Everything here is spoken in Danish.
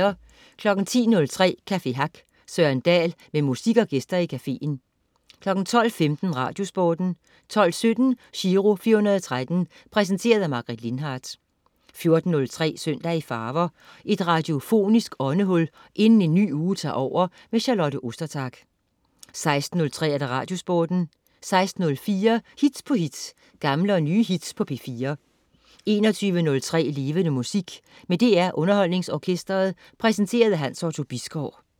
10.03 Café Hack. Søren Dahl med musik og gæster i cafeen 12.15 Radiosporten 12.17 Giro 413. Præsenteret af Margaret Lindhardt 14.03 Søndag i farver. Et radiofonisk åndehul inden en ny uge tager over. Charlotte Ostertag 16.03 Radiosporten 16.04 Hit på hit. Gamle og nye hits på P4 21.03 Levende Musik. Med DR UnderholdningsOrkestret. Præsenteret af Hans Otto Bisgaard